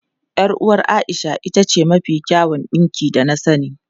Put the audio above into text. Yar uwar Aisha ita ce mafi kyawun dinki da na sani.